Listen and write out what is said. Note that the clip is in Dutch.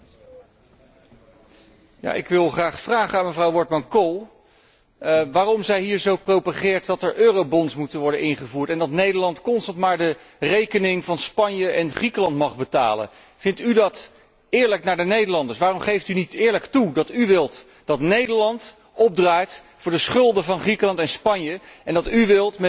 Ik wil mevrouw Wortmann Kool graag vragen waarom zij hier zo propageert dat er eurobonds moeten worden ingevoerd, en dat Nederland constant maar de rekening van Spanje en Griekenland mag betalen. Vindt u dat eerlijk naar de Nederlanders toe? Waarom geeft u niet eerlijk toe dat u wilt dat Nederland opdraait voor de schulden van Griekenland en Spanje, en dat u wilt met al uw eurobonds en uw